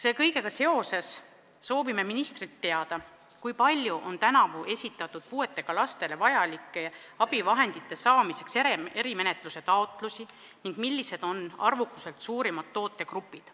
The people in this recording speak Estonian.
Selle kõigega seoses soovime ministrilt teada, kui palju on tänavu esitatud puudega lastele vajalike abivahendite saamiseks erimenetluse taotlusi ning millised on siin suurimad tootegrupid.